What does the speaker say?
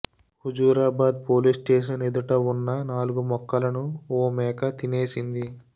Huzurabad police station ఎదుట ఉన్న నాలుగు మొక్కలను ఓ మేక తినేసింది